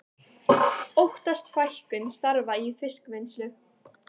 Óttast fækkun starfa í fiskvinnslu